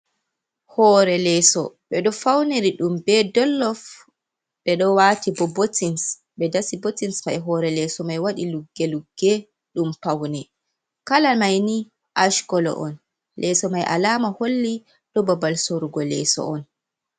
Hore leso, ɓe ɗo fauniri ɗum ɓe ɗollof. Ɓe ɗo wati ɓo botins, ɓe ɗasi botins mai. Hore leso mai waɗi lugge-lugge ɗum paune. Kala maini Ash kolo on. Leso mai alama holli ɗo ɓaɓal sorugo leso on.